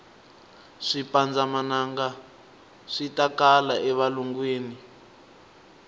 swipanndza manangaswitakala e valungwini